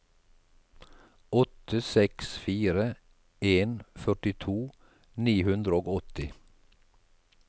åtte seks fire en førtito ni hundre og åtti